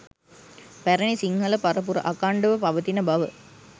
පැරණි සිංහල පරපුර අඛණ්ඩව පවතින බව